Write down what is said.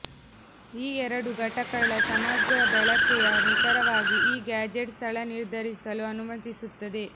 ಈ ಎರಡು ಘಟಕಗಳ ಸಮಗ್ರ ಬಳಕೆಯ ನಿಖರವಾಗಿ ಈ ಗ್ಯಾಜೆಟ್ ಸ್ಥಳ ನಿರ್ಧರಿಸಲು ಅನುಮತಿಸುತ್ತದೆ